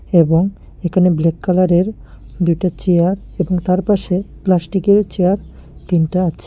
এবং এখানে ব্ল্যাক কালারের দুটা চেয়ার এবং তারপাশে প্লাস্টিকের চেয়ার তিনটা আছে।